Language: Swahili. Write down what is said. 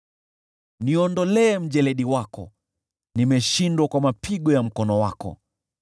Niondolee mjeledi wako, nimeshindwa kwa mapigo ya mkono wako.